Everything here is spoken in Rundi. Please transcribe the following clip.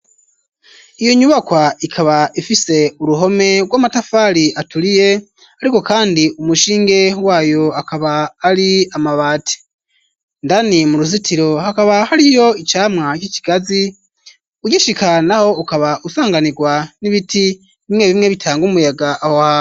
Iyo nyubakwa ikaba ifise uruhome rw'amatafari aturiye ariko kandi umushinge wayo akaba ari amabati indani mu ruzitiro hakaba hariyo icamwa c'ikigazi ugishika naho ukaba usanganirwa n'ibiti bimwe bimwe bitanga umuyaga aho hantu